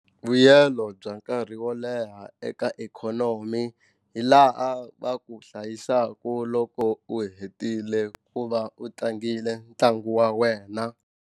Vuyelo bya nkarhi wo leha eka ikhonomi hi laha va ku hlayisaka loko u hetile ku va u tlangile ntlangu wa wena.